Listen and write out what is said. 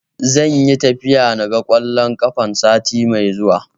Zan yi tafiya na ga ƙwallon kafa, sati mai zuwa.